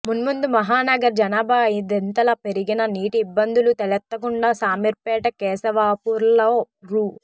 మున్ముందు మహానగర జనాభా అయిదింతలు పెరిగినా నీటి ఇబ్బందులు తలెత్తకుండా శామీర్పేట కేశవాపూర్లో రూ